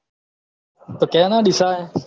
તો કેના ડીસા હે